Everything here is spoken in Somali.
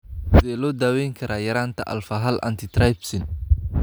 Sidee loo daweyn karaa yaraanta alfa hal antitrypsin?